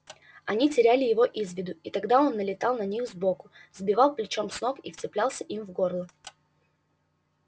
они теряли его из виду и тогда он налетал на них сбоку сбивал плечом с ног и вцеплялся им в горло